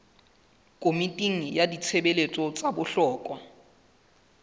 komiting ya ditshebeletso tsa bohlokwa